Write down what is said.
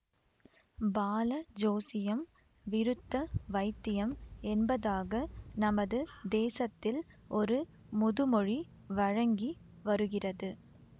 பால ஜோசியம் விருத்த வைத்தியம் என்பதாக நமது தேசத்தில் ஒரு முதுமொழி வழங்கி வருகிறது